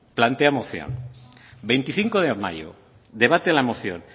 plantea moción veinticinco de mayo debate en la moción